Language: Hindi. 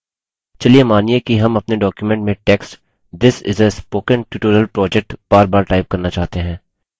चलिए मानिए कि हम अपने document में text this is a spoken tutorial project बारबार type करना चाहते हैं